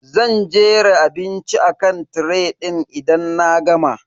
Zan jera abinci akan tiray din idan na gama.